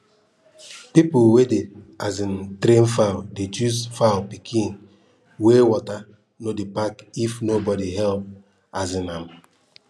people wey dey um train fowl dey choose fowl pikin wey water no dey pack if nobody help um am